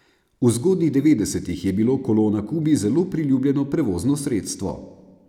V zgodnjih devetdesetih je bilo kolo na Kubi zelo priljubljeno prevozno sredstvo.